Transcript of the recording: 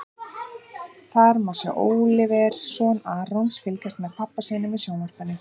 Þar má sjá Óliver, son Arons, fylgjast með pabba sínum í sjónvarpinu.